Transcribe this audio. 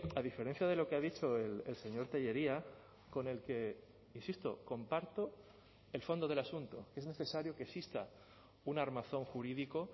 a diferencia de lo que ha dicho el señor tellería con el que insisto comparto el fondo del asunto es necesario que exista un armazón jurídico